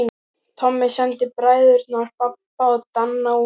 Tommi sendi bræðurna Badda og Danna útí